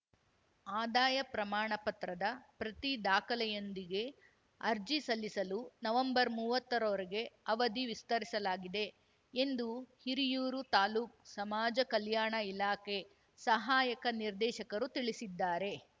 ಆದಾಯ ಪ್ರಮಾಣ ಪತ್ರದ ಪ್ರತಿ ದಾಖಲೆಗಯೊಂದಿಗೆ ಅರ್ಜಿ ಸಲ್ಲಿಸಲು ನವಂಬರ್ಮುವ್ವತ್ತರರೊರೆಗೆ ಅವಧಿ ವಿಸ್ತರಿಸಲಾಗಿದೆ ಎಂದು ಹಿರಿಯೂರು ತಾಲೂಕು ಸಮಾಜ ಕಲ್ಯಾಣ ಇಲಾಖೆ ಸಹಾಯಕ ನಿರ್ದೇಶಕರು ತಿಳಿಸಿದ್ದಾರೆ